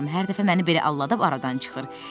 Hər dəfə məni belə aldadıb aradan çıxır.